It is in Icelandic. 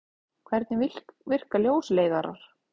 Hvernig virka ljósleiðarar?